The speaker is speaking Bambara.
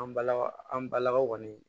An balakaw an balakaw kɔni